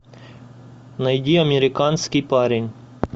найди американский парень